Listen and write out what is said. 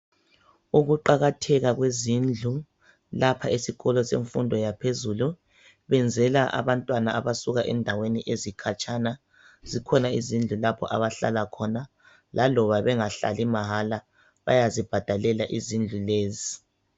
ukuqakatheka kwezindlu lapha esikolo semfundo yaphezulu benzela abantwana abasuka endaweni ezikhatshana zikhona izindlu lapaha abahlala khona laloba bengahlali mahala bayazibhadalela izindlu lezi